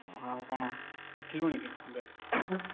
ଓହୋ ଆଉ କଣ? ଉଠିଲୁଣି କି ଏବେ?